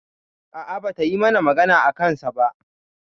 A'a, bata yi magana a kansa ba.